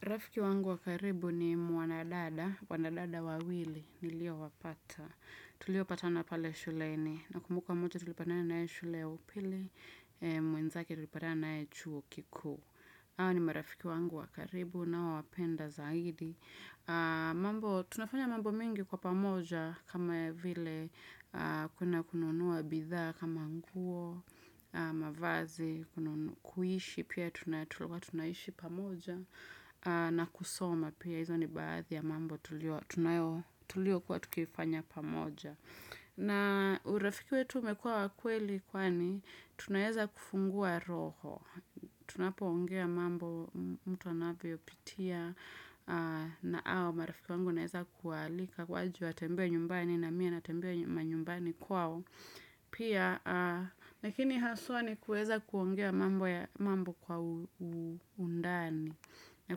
Rafiki wangu wa karibu ni mwanadada, wanadada wawili, niliowapata. Tuliopatana pale shuleni, nakumbuka mmoja tulipatana naye shule upili, mwenzake tulipatana naye chuo kikuu. Hawa ni marafiki wangu wa karibu, ninaowapenda zaidi. Tunafanya mambo mengi kwa pamoja, kama vile kuna kununua bidhaa, kama nguo na mavazi, kuishi, pia tulikuwa tunaishi pamoja. Na kusoma pia hizo ni baadhi ya mambo tuliokuwa tukifanya pamoja. Na urafiki wetu umekua wa kweli kwani tunaeza kufungua roho. Tunapoongea mambo mtu anavyopitia na au marafiki wangu naeza kualika waje watembee nyumbani na mie natembea manyumbani kwao. Pia, lakini haswa ni kuweza kuongea mambo kwa undani na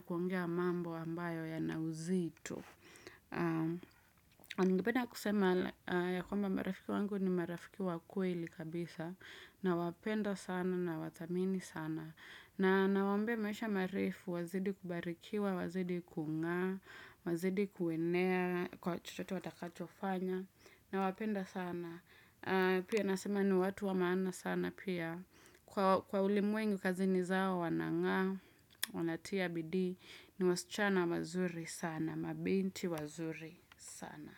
kuongea mambo ambayo yana uzito Ningependa kusema ya kwamba marafiki wangu ni marafiki wa kweli kabisa nawapenda sana nawathamini sana na nawaombea maisha marefu, wazidi kubarikiwa, wazidi kuungana Wazidi kuenea, kwa chochote watakachofanya Nawapenda sana Pia nasema ni watu wa maana sana pia Kwa ulimwengu kazini zao wanang'aa wanatia bidii ni wasichana wazuri sana mabinti wazuri sana.